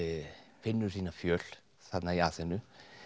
finnur sína fjöl þarna í Aþenu